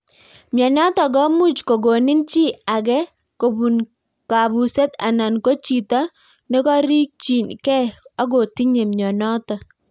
Mianitok komuuch kokonin chii agee kobuun kabuseet anan Koo chitoo nokorikchii gei agotinyee mianitok